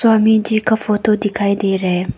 स्वामी जी का फोटो दिखाई दे रहा है।